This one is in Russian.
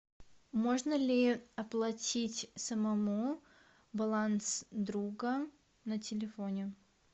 можно ли оплатить самому баланс друга на телефоне